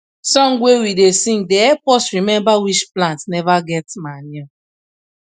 song wey we da sing da help us remember which plant never get manure